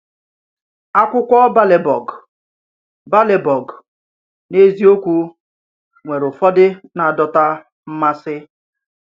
Ákwụkwọ Bèrlèburg, Bèrlèburg, n’eziokwu, nwere ụfọdụ na-adọta mmasị.